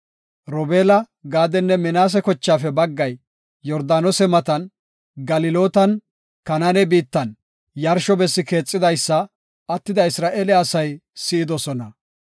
Robeela, Gaadenne Minaase kochaafe baggay Yordaanose matan, Galilootan, Kanaane biittan yarsho bessi keexidaysa attida Isra7eele asay si7idosona.